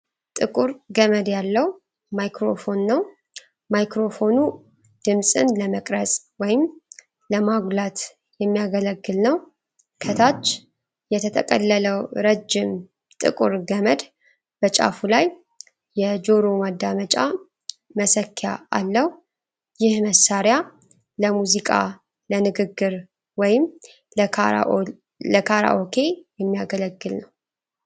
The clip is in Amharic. ጥቁር ገመድ ያለው ማይክሮፎን ነው። ማይክሮፎኑ ድምጽን ለመቅረጽ ወይም ለማጉላት የሚያገለግል ነው። ከታች የተጠቀለለው ረጅም ጥቁር ገመድ በጫፉ ላይ የጆሮ ማዳመጫ መሰኪያ አለው። ይህ መሳሪያ ለሙዚቃ፣ ለንግግር ወይም ለካራኦኬ የሚያገለግል ነው።